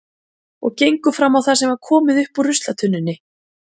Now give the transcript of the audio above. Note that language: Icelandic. Og gengu fram á það sem var komið upp úr ruslatunnunni.